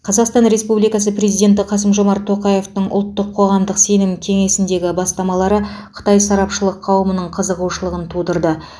қазақстан республикасы президенті қасым жомарт тоқаевтың ұлттық қоғамдық сенім кеңесіндегі бастамалары қытай сарапшылық қауымының қызығушылығын тудырды